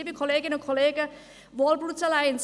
Liebe Kolleginnen und Kollegen, Walgreen Boots Alliance: